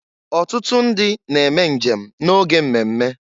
Ọtụtụ ndị na eme njem na-oge mmemme.